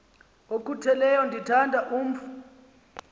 okhutheleyo ndithanda umf